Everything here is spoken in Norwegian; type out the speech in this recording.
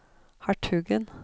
hertugen